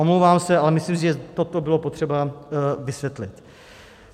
Omlouvám se, ale myslím si, že toto bylo potřeba vysvětlit.